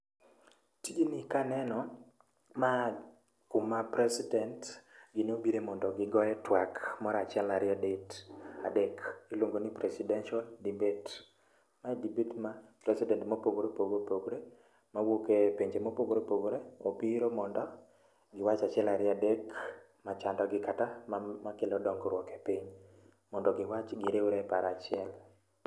Tijni kaneno ma kuma president gi nobire mondo gi goye tuak moro achiuel ariyo adek ,iluongo ni presidential debate, mae debate ma president mopogre opoggre mawuok e pinje mopogore opogore obiro mondo giwach achiel ariyo adek machando gi kata makelo dongruok e piny, mondo giwach gi riwre e paro a chiel